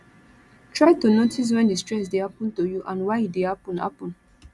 try to notice when di stress dey happen to you and why e dey happen happen